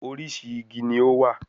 Orísìí igi ni ó wà